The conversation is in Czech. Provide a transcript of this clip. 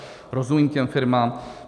Rozumím těm firmám.